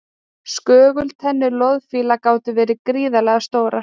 Skögultennur loðfíla gátu verið gríðarlega stórar.